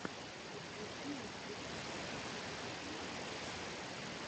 подключи лазарев тактикал ютьюб